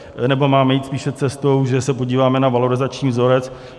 Nebo máme jít spíše cestou, že se podíváme na valorizační vzorec?